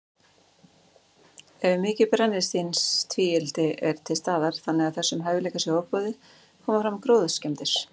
Ef mikið brennisteinstvíildi er til staðar, þannig að þessum hæfileika sé ofboðið, koma fram gróðurskemmdir.